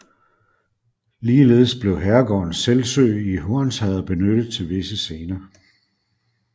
Ligeledes blev herregården Selsø i Hornsherred benyttet til visse scener